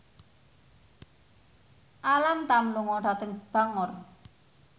Alam Tam lunga dhateng Bangor